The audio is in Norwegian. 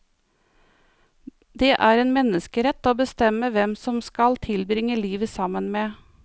Det er en menneskerett å bestemme hvem man skal tilbringe livet sammen med.